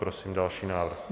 Prosím další návrh.